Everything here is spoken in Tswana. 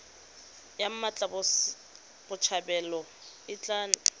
ya mmatla botshabelo e tla